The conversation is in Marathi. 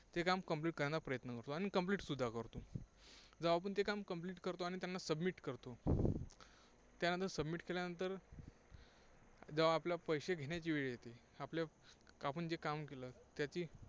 ते काम complete करण्याचा प्रयत्न करतो. अनं complete सुद्धा करतो. जेव्हा आपण ते काम Complete करतो आणि त्यांना submit करतो. त्यानंतर submit केल्यानंतर जेव्हा आपल्या पैसे घेण्याची वेळ येते, आपल्या आपण जे काम केले त्याची